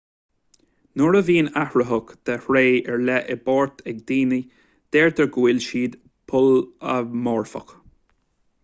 nuair a bhíonn athraitheach de thréith ar leith i bpáirt ag daoine deirtear go bhfuil siad polamorfach